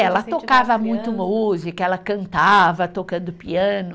Ela tocava muito música, ela cantava tocando piano.